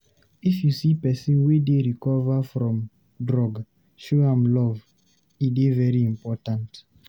If you see pesin wey dey recover from drug, show am plenty love. E dey very important.